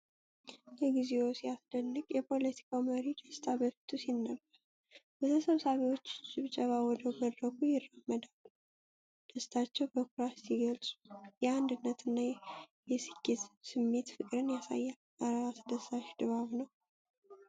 እግዚኦ! ሲያስደንቅ! የፖለቲካው መሪ ደስታ በፊቱ ሲነበብ፣ በተሰብሳቢዎቹ ጭብጨባ ወደ መድረኩ ይራመዳሉ። ደስታቸውን በኩራት ሲገልጹ፣ የአንድነትና የስኬት ስሜት ፍቅርን ያሳያል። እረ! አስደሳች ድባብ ነው!